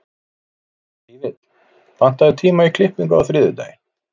Fífill, pantaðu tíma í klippingu á þriðjudaginn.